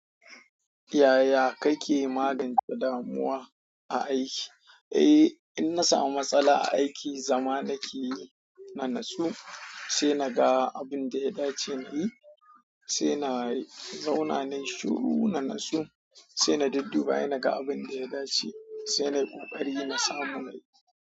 Yaya kake magance damuwa a aiki? Eh, in na samu matsala a aiki, zama nake yi na natsu, sai na ga abin da ya dace na yi, sai na zauna nayi shiru na natsu, sai na dudduba in ga abin da ya dace, sai na yi ƙoƙari na samu na yi.